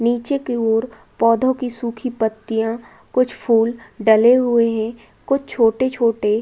नीचे की ओर पौधों की सुखी पत्तियां कुछ फूल डले हुए हैं। कुछ छोटे-छोटे --